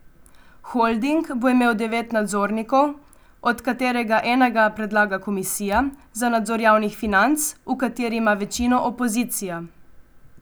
Holding bo imel devet nadzornikov, od katerega enega predlaga komisija za nadzor javnih financ, v kateri ima večino opozicija.